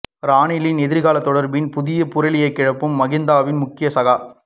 ரணிலின் எதிர்காலம் தொடர்பில் புது புரளியை கிழப்பும் மகிந்தவின் முக்கிய சகா